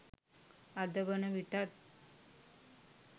අද වන විටත්